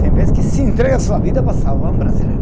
Tem vez que se entrega a sua vida para salvar um brasileiro.